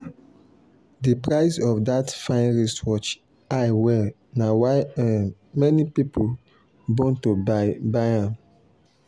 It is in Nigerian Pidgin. the price of that fine wristwatch high well na why um many people bone to buy buy am.